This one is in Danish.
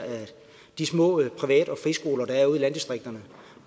de små privat og friskoler der er ude i landdistrikterne